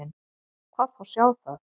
Hvað þá sjá það.